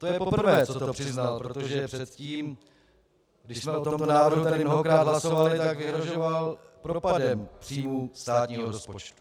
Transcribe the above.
To je poprvé, co to přiznal, protože předtím, když jsme o tomto návrhu tady mnohokrát hlasovali, tak vyhrožoval propadem příjmů státního rozpočtu.